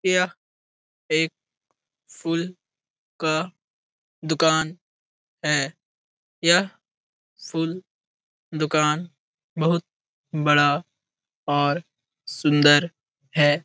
यह एक फूल का दुकान है। यह फूल दुकान बहुत बड़ा और सुन्दर है।